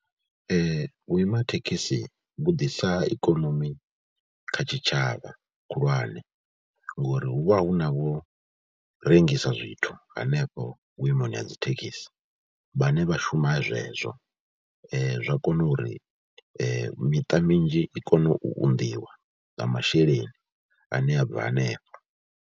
Vhuima thekhisi vhu ḓisa ikonomi kha tshitshavha khulwane ngori hu vha hu na vhu rengisa zwithu hanefho vhuimoni ha dzi thekhisi, vhane vha shuma zwezwo. Zwa kona uri miṱa mizhi i kone u unḓiwa nga masheleni ane a bva hanefho.